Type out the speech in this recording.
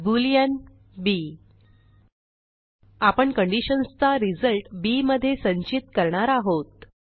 Boolean b आपण conditions चा result bमधे संचित करणार आहोत